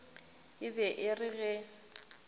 e be e re ge